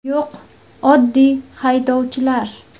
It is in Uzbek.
Yo‘q oddiy haydovchilar.